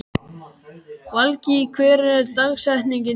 Valgý, hver er dagsetningin í dag?